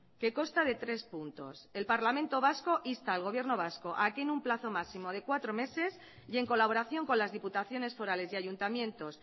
que consta de tres puntos el parlamento vasco insta al gobierno vasco a que en un plazo máximo de cuatro meses y en colaboración con las diputaciones forales y ayuntamientos